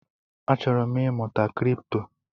Achọrọ m ịmụta Kripto